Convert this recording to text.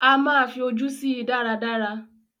A máa fí ojú sí i dáradára